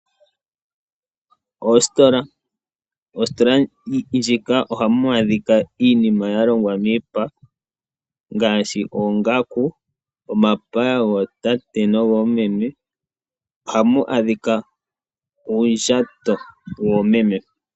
Oositola ndjika ohamu adhika iinima ya longwa miipa ngaashi oongaku omapaya gootate nogoomeme ohamu adhika uundjato woomeme.